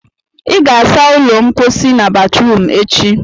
ị ga-asa ụlọ mposi na batrum echi!